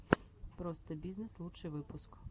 простобизнесс лучший выпуск